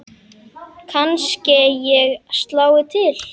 Kannske ég slái til.